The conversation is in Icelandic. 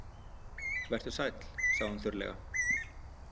Vertu sæll, sagði hún þurrlega.